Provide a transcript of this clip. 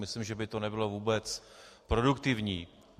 Myslím, že by to nebylo vůbec produktivní.